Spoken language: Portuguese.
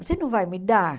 Você não vai me dar?